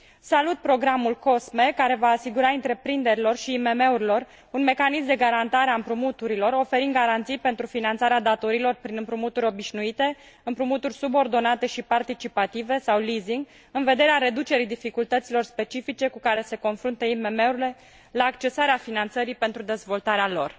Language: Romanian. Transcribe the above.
Salut programul COSME, care va asigura întreprinderilor și IMM urilor un mecanism de garantare a împrumuturilor, oferind garanții pentru finanțarea datoriilor prin împrumuturi obișnuite, împrumuturi subordonate și participative sau leasing în vederea reducerii dificultăților specifice cu care se confruntă IMM urile la accesarea finanțării pentru dezvoltarea lor.